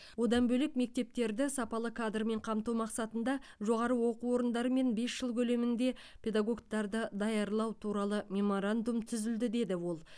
одан бөлек мектептерді сапалы кадрмен қамту мақсатында жоғары оқу орындарымен бес жыл көлемінде педагогтарды даярлау туралы меморандум түзілді деді ол